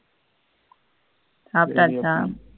சாப்டாச்சா